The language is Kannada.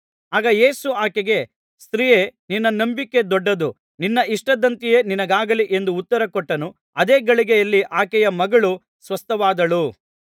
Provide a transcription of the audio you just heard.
ಆಗ ಯೇಸು ಆಕೆಗೆ ಸ್ತ್ರೀಯೇ ನಿನ್ನ ನಂಬಿಕೆ ದೊಡ್ಡದು ನಿನ್ನ ಇಷ್ಟದಂತೆಯೇ ನಿನಗಾಗಲಿ ಎಂದು ಉತ್ತರಕೊಟ್ಟನು ಅದೇ ಗಳಿಗೆಯಲ್ಲಿ ಆಕೆಯ ಮಗಳು ಸ್ವಸ್ಥವಾದಳು